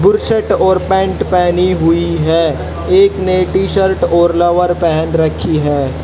और पैंट पहनी हुई है एक ने टी_शर्ट और लोवर पहन रखी है।